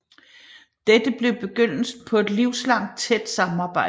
Dette blev begyndelsen på et livslangt tæt samarbejde